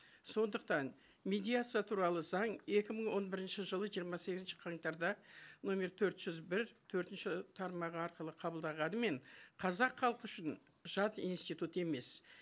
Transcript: сондықтан медиация туралы заң екі мың он бірінші жылы жиырма сегізінші қаңтарда нөмір төрт жүз бір төртінші тармағы арқылы қабылданғанымен қазақ халқы үшін жат институт емес